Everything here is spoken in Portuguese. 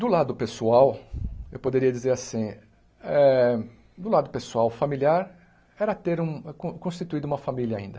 Do lado pessoal, eu poderia dizer assim, eh do lado pessoal familiar, era ter um con constituído uma família ainda.